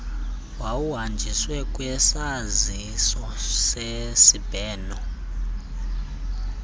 wokuhanjiswa kwesaziso sesibheno